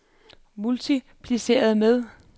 multipliceret med